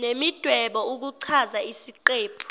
nemidwebo ukuchaza isiqephu